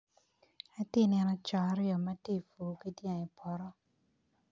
Atye ka neno co aryo ma gitye ka pur ki dyang i poto